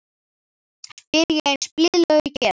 spyr ég eins blíðlega og ég get.